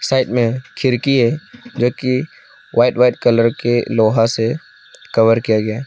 Side में खिड़की है जो की व्हाइट व्हाइट कलर के लोहा से कवर किया गया है।